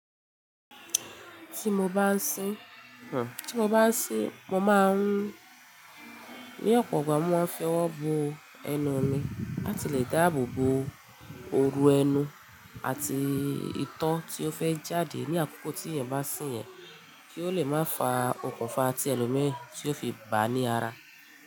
Ti mo ba ń sín, ti mo ba ń sín, mo máa ń ní ọ̀pọ̀ ọgbà mo máa fi ọwọ́ bo ẹnu mi, láti lè dá àbobo oru ẹnu àti ìtọ́ tí ó fẹ́ jáde ní àkókò tí yen bá sìn yẹn, kí ó lè má fa òkùnfà ti ẹlòmí tí ó fi bà ní ara.